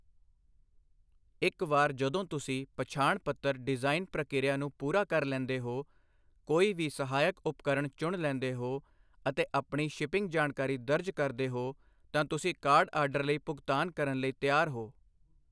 ਇੱਕ ਵਾਰ ਜਦੋਂ ਤੁਸੀਂ ਪਛਾਣ ਪੱਤਰ ਡਿਜ਼ਾਈਨ ਪ੍ਰਕਿਰਿਆ ਨੂੰ ਪੂਰਾ ਕਰ ਲੈਂਦੇ ਹੋ, ਕੋਈ ਵੀ ਸਹਾਇਕ ਉਪਕਰਣ ਚੁਣ ਲੈਂਦੇ ਹੋ, ਅਤੇ ਆਪਣੀ ਸ਼ਿਪਿੰਗ ਜਾਣਕਾਰੀ ਦਰਜ ਕਰਦੇ ਹੋ, ਤਾਂ ਤੁਸੀਂ ਕਾਰਡ ਆਰਡਰ ਲਈ ਭੁਗਤਾਨ ਕਰਨ ਲਈ ਤਿਆਰ ਹੋ।